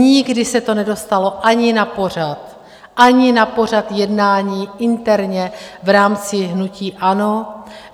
Nikdy se to nedostalo ani na pořad, ani na pořad jednání interně v rámci hnutí ANO.